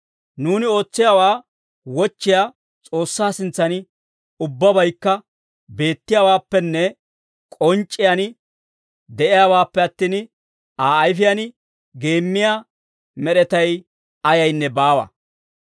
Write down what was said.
Nuuni ootsiyaawaa wochchiyaa S'oossaa sintsan ubbabaykka beettiyaawaappenne k'onc'c'iyaan de'iyaawaappe attin, Aa ayfiyaan geemmiyaa med'etay ayaynne baawa.